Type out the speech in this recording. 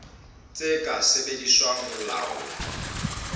tse ka sebediswang ho laola